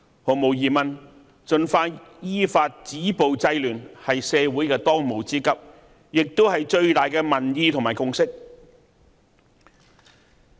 毫無疑問，盡快依法止暴制亂，是社會的當務之急，也是最大的民意和共識。